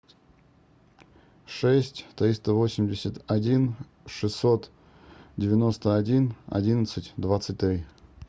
шесть триста восемьдесят один шестьсот девяносто один одиннадцать двадцать три